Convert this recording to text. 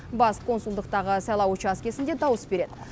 бас консулдықтағы сайлау учаскесінде дауыс береді